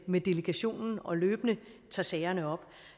med delegationen og løbende tager sagerne op